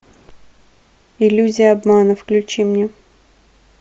иллюзия обмана включи мне